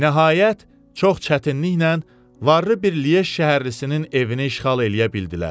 Nəhayət, çox çətinliklə varlı bir Liej şəhərlisinin evini işğal eləyə bildilər.